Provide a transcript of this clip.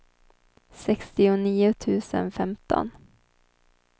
sextionio tusen femton